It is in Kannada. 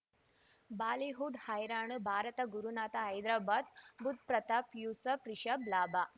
ಬಾಲಿವುಡ್ ಹೈರಾಣ ಭಾರತ ಗುರುನಾಥ ಹೈದರಾಬಾದ್ ಬುಧ್ ಪ್ರತಾಪ್ ಯೂಸುಫ್ ರಿಷಬ್ ಲಾಭ